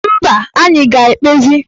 Mba, anyị ga-ekpezi